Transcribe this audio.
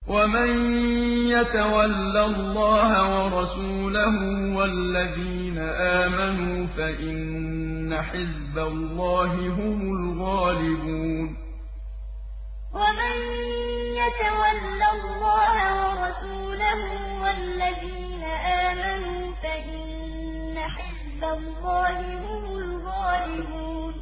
وَمَن يَتَوَلَّ اللَّهَ وَرَسُولَهُ وَالَّذِينَ آمَنُوا فَإِنَّ حِزْبَ اللَّهِ هُمُ الْغَالِبُونَ وَمَن يَتَوَلَّ اللَّهَ وَرَسُولَهُ وَالَّذِينَ آمَنُوا فَإِنَّ حِزْبَ اللَّهِ هُمُ الْغَالِبُونَ